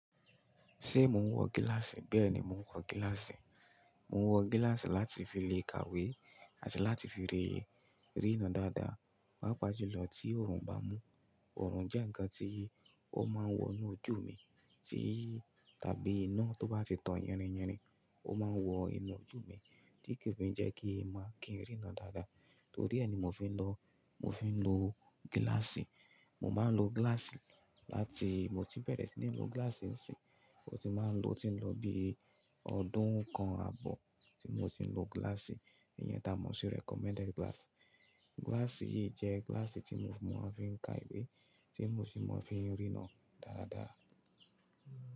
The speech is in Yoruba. Ṣé mò ń wọ gíláàsì? Bẹ́ẹ̀ ni mò ń wọ gíláàsì. Mò ń wọ gíláàsì láti fi le kàwé àti láti fi rí, ríran dáadáa, pàápàá jùlọ tí òòrùn bá mú. Òòrùn jẹ́ ǹkan tí ó máa ń wọ inú ojú mi, tí tàbí iná tó bá ti tán yirinyirin, ó máa ń wọ inú ojú mi, tí kò fi jẹ́ kí n máa kí n ríran dáadáa. Torí ẹ ni mò fi ń lọ, mò fi ń lo gíláàsì. Mo máa ń lo gíláàsì láti-- mo ti bẹ̀rẹ̀ sí ní lo gíláàsì ń ṣin, mo ti máa ń lo o tí n lọ bí ọdún kan ààbọ̀ tí mò ti ń lo gíláàsì, ìyẹn tá mò ń ṣi recommended glass. Gíláàsì yìí jẹ́ gíláàsì tí mò ń fi ka ìwé, tí mò sì máa ń fi ríran dáadáa.